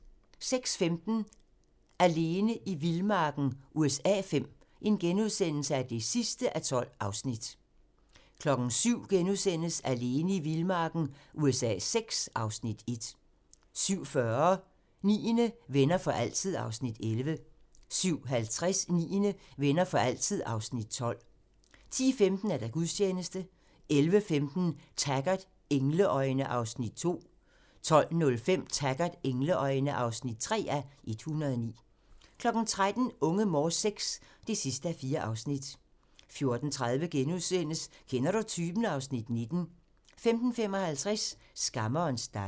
06:15: Alene i vildmarken USA V (12:12)* 07:00: Alene i vildmarken USA VI (Afs. 1)* 07:40: Niende - Venner for altid (Afs. 11) 07:50: Niende - Venner for altid (Afs. 12) 10:15: Gudstjeneste 11:15: Taggart: Engleøjne (2:109) 12:05: Taggart: Engleøjne (3:109) 13:00: Unge Morse VI (4:4) 14:30: Kender du typen? (Afs. 19)* 15:55: Skammerens datter